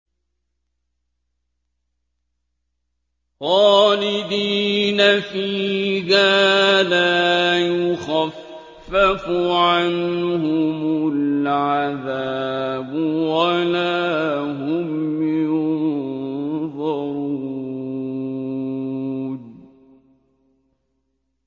خَالِدِينَ فِيهَا ۖ لَا يُخَفَّفُ عَنْهُمُ الْعَذَابُ وَلَا هُمْ يُنظَرُونَ